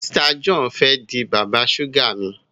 Mr John fè dì bàbá suga mí.